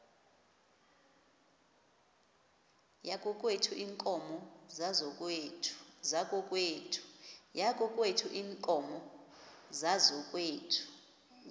yakokwethu iinkomo zakokwethu